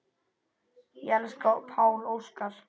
Ég elska Pál Óskar.